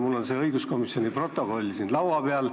Mul on õiguskomisjoni koosoleku protokoll siin laua peal.